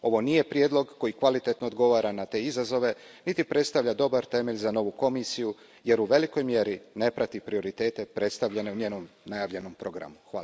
Ovo nije prijedlog koji kvalitetno odgovara na te izazove niti predstavlja dobar temelj za novu Komisiju jer u velikoj mjeri ne prati prioritete predstavljene u njenom najavljenom programu.